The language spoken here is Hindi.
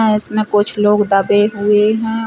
इसमें कुछ लोग दबे हुए हैं।